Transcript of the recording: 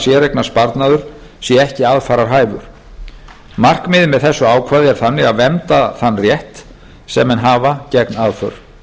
séreignarsparnaður sé ekki aðfararhæfur markmiðið með þessu ákvæði er þannig að vernda þennan rétt sem menn hafa gegn aðför